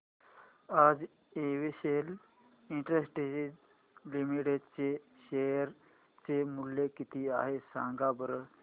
आज Excel Industries Limited चे share चे मूल्य किती आहे सांगा बरं